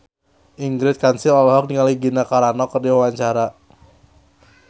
Ingrid Kansil olohok ningali Gina Carano keur diwawancara